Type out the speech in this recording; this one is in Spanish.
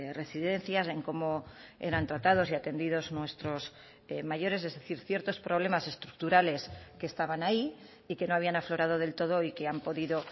residencias en cómo eran tratados y atendidos nuestros mayores es decir ciertos problemas estructurales que estaban ahí y que no habían aflorado del todo y que han podido